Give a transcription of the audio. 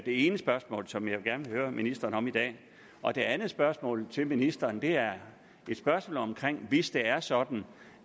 ene spørgsmål som jeg gerne vil høre ministeren om i dag og det andet spørgsmål til ministeren er et spørgsmål om at hvis det er sådan